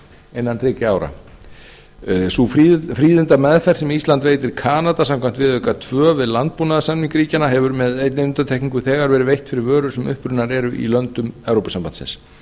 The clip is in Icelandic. innan þriggja ára sú fríðindameðferð sem ísland veitir kanada samkvæmt viðauka tvö við landbúnaðarsamning ríkjanna hefur með einni undantekningu þegar verið veitt fyrir vörur sem upprunnar eru í löndum evrópusambandsins